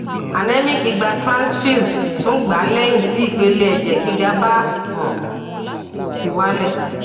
anemic gba transfused tun gba lehin ti ipele eje giga ba um ti wale